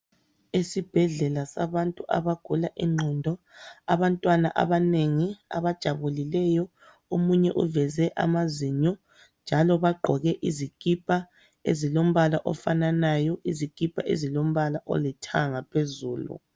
Esibhedlela sabantu abagula ingqondo. Abantwana abanengi abajabulileyo, omunye uveze amazinyo njalo bagqoke izikipa, ezilombala ofananayo, izikipa ezilombala olithanga phezulu.